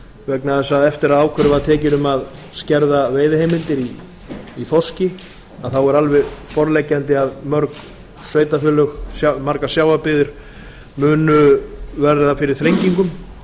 vegna þess að eftir að ákvörðun var tekin um að skerða veiðiheimildir í þorski var alveg borðleggjandi að mörg sveitarfélög margar sjávarbyggðir munu verða fyrir þrengingum